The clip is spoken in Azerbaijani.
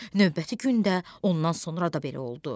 Növbəti gün də, ondan sonra da belə oldu.